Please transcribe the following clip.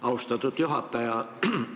Austatud juhataja!